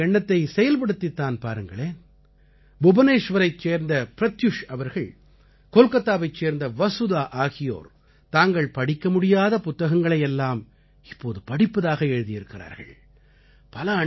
நீங்களும் இந்த எண்ணத்தை செயல்படுத்தித் தான் பாருங்களேன் புபனேஷ்வரைச் சேர்ந்த ப்ரத்யுஷ் அவர்கள் கோல்காத்தாவைச் சேர்ந்த வசுதா ஆகியோர் தாங்கள் படிக்க முடியாத புத்தகங்களை எல்லாம் இப்போது படிப்பதாக எழுதியிருக்கிறார்கள்